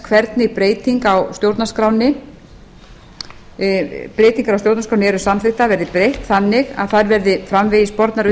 hvernig breytingar á stjórnarskránni eru samþykktar verði breytt þannig að þær verði framvegis bornar